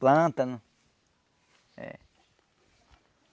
Plântano.